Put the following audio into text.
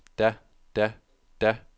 da da da